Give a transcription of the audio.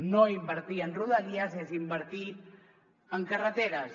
no invertir en rodalies és invertir en carreteres